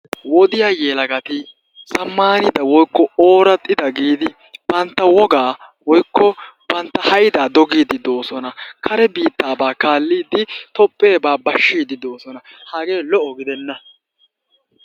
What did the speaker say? wodiya yelagati zamaanida woykko ooraxida giidi banta wogaa woykko bantta haydaa dogiidi doosona. Kare biittaabaa kaalidi Toopheebaa bashiidi doosona. Hagee lo''o gidenna.